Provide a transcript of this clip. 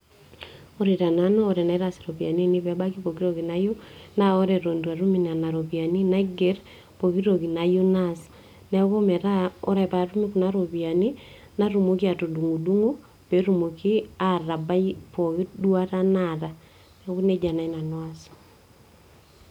Ore tenanu tenaitaas iropiyiani ainei peebaki pooki toki nayieu, na ore atan it atum nona ropiyani naiger pooki toki nayieu naas ,neaku metaa oree paatum kuna ropiyani natumoki atudungdungo peetumoki atabai pooki duata naata ,neaku neji naai nanu aas.